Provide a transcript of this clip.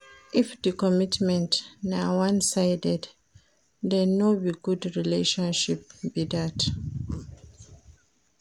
If di commitment na one sided then no be good relationship be that